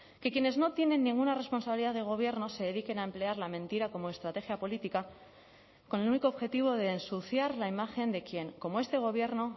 que quienes no tienen ninguna responsabilidad de gobierno se dediquen a emplear la mentira como estrategia política con el único objetivo de ensuciar la imagen de quién como este gobierno